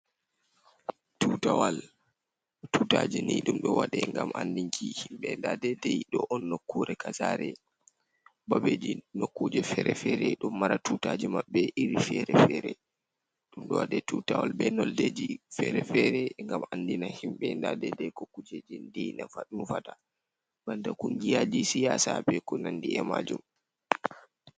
Tutawal, tutaje ni dumdo wade gam andinki himbe dadedei do on nokkure kasare babeji nokkuje fere-fere do mara tutaje mabbe iri fere-fere dumdo wade tutawal be noldeji fere-fere gam andina himbe dadedei ko kujeji dinufata banda kungiyaji siyasabe ko nandi e majum.